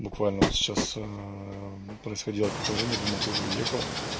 буквально вот сейчас происходило какое-то время я думал ты уже уехала